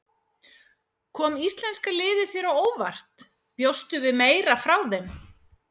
Kom íslenska liðið þér á óvart, bjóstu við meira frá þeim?